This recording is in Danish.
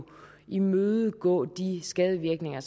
imødegå skadevirkningerne